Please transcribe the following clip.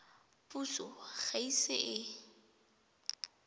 puso ga e ise e